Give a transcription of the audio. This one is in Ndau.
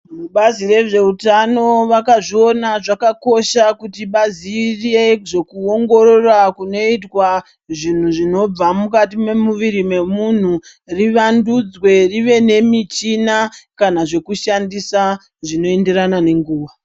Mubazi rezveutano vakazviona zvakakosha kuti vaziye zvekuingorora kunoitwa zvinhu zvinobva mukati memuviri memunthu rivandudzwe rive nemichina kana zvinoshandiswa zvinoenderana nenguva.